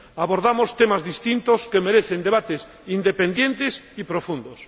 abordamos temas distintos, que merecen debates independientes y profundos.